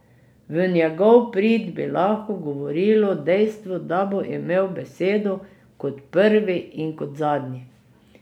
V njegov prid bi lahko govorilo dejstvo, da bo imel besedo kot prvi in kot zadnji.